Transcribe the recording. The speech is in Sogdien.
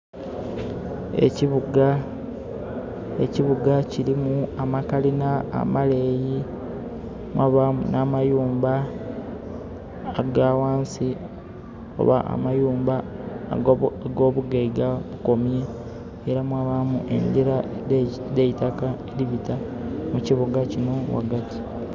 Ekibuga kilimu amakalina amaleeyi, mwabaamu n'amayumba aga ghansi, oba amayumba ag'obugaiga....era mwabaamu engira edh'eitaka edhibita mu kibuga kino ghagati.